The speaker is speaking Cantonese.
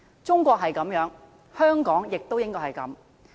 中國如是，香港也應該如是。